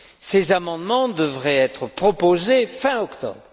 Ces amendements devraient être proposés fin octobre.